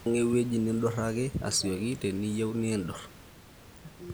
impanga ewueji niduraki asioki teniyieu nidurr